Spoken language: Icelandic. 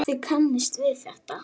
Þið kannist við þetta.